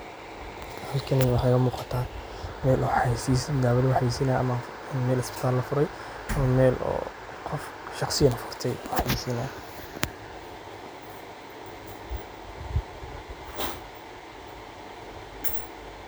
Halkani waxa iga muqatah meel xayeysis dawa laxayeysinayah camal meel isbitaal lafuurey meel oo qoof shaqsiyan gurtay xayeysinay.